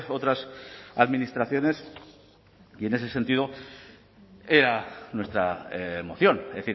otras administraciones y en ese sentido era nuestra moción es